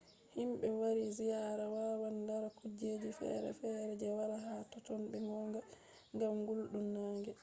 himɓe wari ziyaara wawan lara kujeji fere fere je wala ha totton be gonga ngam gulɗum nange